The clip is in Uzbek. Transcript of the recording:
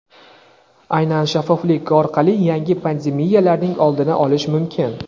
aynan shaffoflik orqali yangi pandemiyalarning oldini olish mumkin.